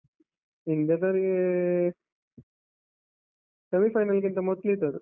India ದವ್ರಿಗೇ semi final ಗಿಂತ ಮೊದ್ಲಿದ್ದದ್ದು.